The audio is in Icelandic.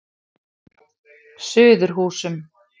Suðurhúsum